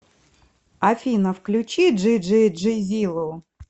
афина включи джи джи джизилу